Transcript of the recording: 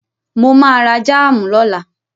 Mo ma ra jáàmù lọ́la